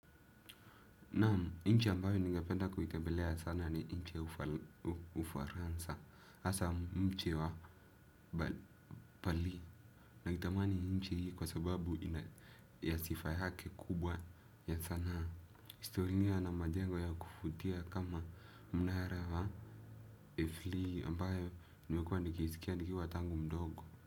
Naamu, inchi ambayo ningapenda kuitembelea sana ni inchi ya ufaransa, hasa mchi wa pali. Naitamani inchi hii kwa sababu ya sifa hake kubwa ya sana. Historia na majengo ya kuvutia kama mnara wa ifli ambayo nimekuwa nikiisikia nikiwa tangu mdogo.